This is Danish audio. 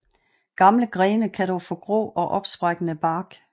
Gamle grene kan dog få grå og opsprækkende bark